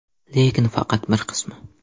Lekin faqat bir qismi.